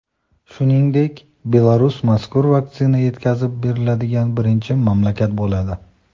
Shuningdek, Belarus mazkur vaksina yetkazib beriladigan birinchi mamlakat bo‘ladi.